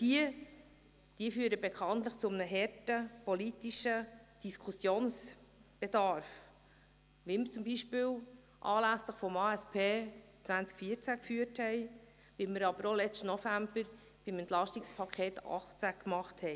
Diese führen bekanntlich zu einem harten politischen Diskussionsbedarf, wie dies zum Beispiel anlässlich der Angebots- und Strukturüberprüfung 2014 (ASP 2014) der Fall war, aber auch beim Entlastungspaket 2018 vom letzten November.